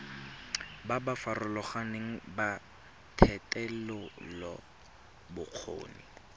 ba ba farologaneng ba thetelelobokgoni